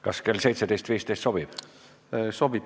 Kas kell 17.15 sobib?